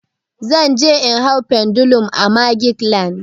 Zan je in hau pendulum a magic land.